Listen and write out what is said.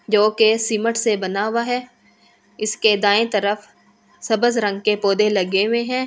जो के सिमट से बना हुआ है। इसके दाएं तरफ सब्ज रंग के पौधे लगे हुए हैं।